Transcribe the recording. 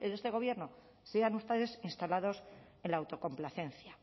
de este gobierno sigan ustedes instalados en la autocomplacencia